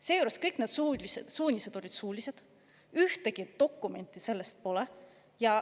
Seejuures olid kõik need suunised suulised, ühtegi dokumenti pole.